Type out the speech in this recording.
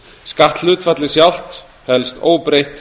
skatthlutfallið sjálft helst óbreytt